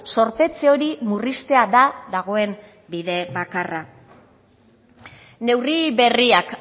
zorpetze hori murriztea da dagoen bide bakarra neurri berriak